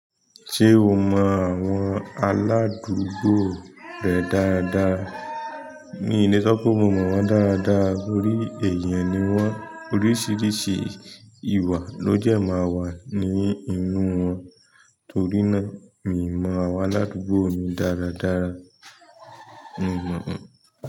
Ṣé o mọ àwọn aládùúgbò rẹ dáadáa? In le sọ pé mo mọ wọn dáadáa torí èèyàn ni wọ́n. Oríṣiríṣi ìwà ló dẹ máa wà ní inú wọn, torí náà mi ò mọ àwọn aládùúgbò mi dáradára. Mi mọ̀ wọ́n.